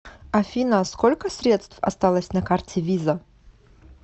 афина сколько средств осталось на карте виза